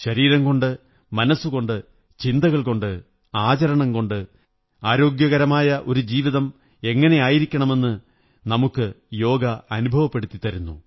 ശരീരംകൊണ്ട് മനസ്സുകൊണ്ട് ചിന്തകള്കൊുണ്ട് ആചരണം കൊണ്ട് ആരോഗ്യപൂര്ണ്ണ മായ ഒരു ജീവിതം എങ്ങനെയായിരിക്കണമെന്നു നമുക്ക് യോഗ അനുഭവപ്പെടുത്തി തരുന്നു